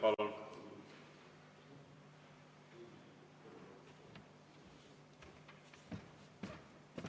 Palun!